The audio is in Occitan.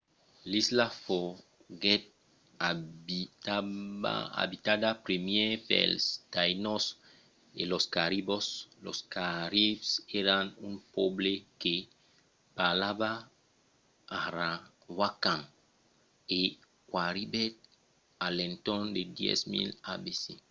l'isla foguèt abitada primièr pels taínos e los caribs. los caribs èran un pòble que parlava arawakan e qu'arribèt a l'entorn de 10.000 abc